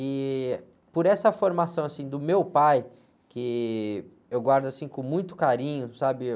E por essa formação, assim, do meu pai, que eu guardo, assim, com muito carinho, sabe?